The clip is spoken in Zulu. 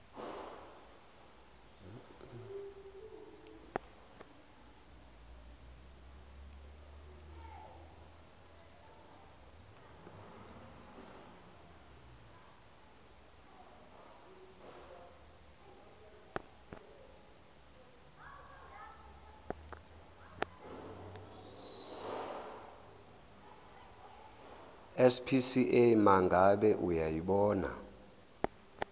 spca mangabe uyayibona